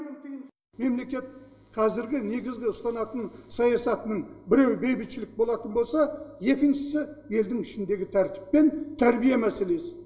мемлекет қазіргі негізгі ұстанатын саясатының біреуі бейбітшілік болатын болса екіншісі елдің ішіндегі тәртіп пен тәрбие мәселесі